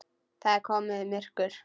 Það er komið myrkur.